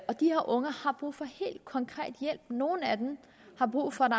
og de her unge har brug for helt konkret hjælp nogle af dem har brug for at